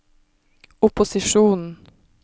opposisjonen